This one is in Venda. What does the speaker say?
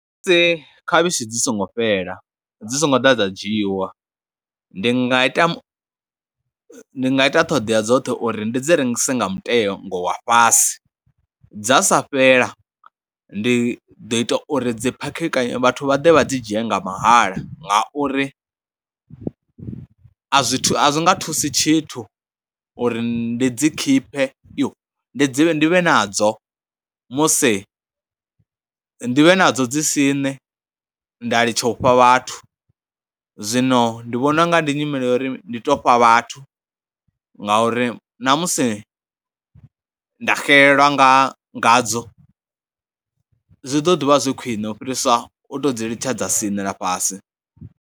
Khavhishi dzi songo fhela, dzi songo ḓa dza dzhiiwa, ndi nga ita, ndi nga ita ṱhoḓea dzoṱhe uri ndi dzi rengise nga mutengo wa fhasi, dza sa fhela ndi ḓo ita uri dzi phakheka, ndi ḓo ita uri vhathu vha ḓe vha dzi dzhie nga mahala ngauri a zwi thu, a zwi nga thusi tshithu uri ndi dzi khiphe. Yo, ndi dzi ndi vhe nadzo musi, ndi vhe nadzo dzi siṋe nda litsha u fha vhathu, zwino ndi vhona u nga ndi nyimele ya uri ndi tou fha vhathu ngauri namusi nda xelelwa nga ngadzo zwi ḓo ḓi vha zwi khwiṋe u fhirisa u tou dzi litshedza siṋela fhasi.